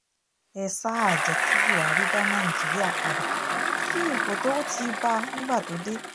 ẹ sáà jẹ́ kí buhari da nàìjíríà padà sí ipò tó ti bá a nígbà tó dé